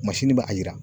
masini be a yira